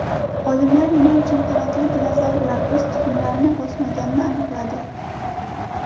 Olimlar nima uchun qanotli dinozavrlar o‘z tuxumlarini bosmaganini aniqladi.